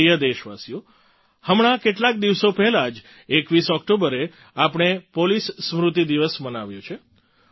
મારા પ્રિય દેશવાસીઓ હમણાં કેટલાક દિવસો પહેલાં જ 21 ઑક્ટોબરે આપણે પોલીસ સ્મૃતિ દિવસ મનાવ્યો છે